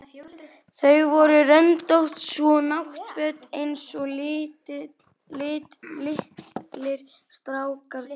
Þau voru röndótt, svona náttföt einsog litlir strákar gengu í.